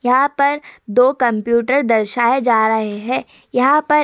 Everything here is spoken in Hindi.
यहाँ पर दो कम्प्यूटर दर्शाए जा रहे हैं। यहाँ पर --